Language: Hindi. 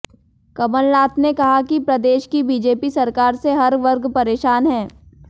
कमलनाथ ने कहा कि प्रदेश की बीजेपी सरकार से हर वर्ग परेशान है